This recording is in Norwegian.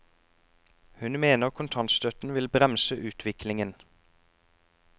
Hun mener kontantstøtten vil bremse utviklingen.